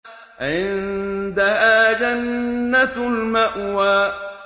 عِندَهَا جَنَّةُ الْمَأْوَىٰ